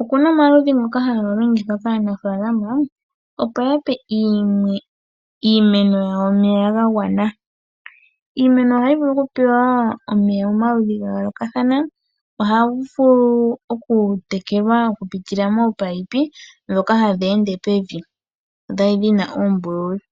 Okuna omaludhi ngoka haga longithwa kaanafaalama opo yape iimeno yawo omeya gwagwana . Iimeno ohayi vulu okupewa omeya momaludhi gayoolokathana, ohayi vulu okutekelwa okupitila mominino ndhoka hadhi ende pevi, dho odhina oombululu.